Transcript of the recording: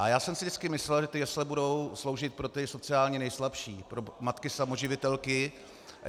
A já jsem si vždycky myslel, že ty jesle budou sloužit pro ty sociálně nejslabší, pro matky samoživitelky.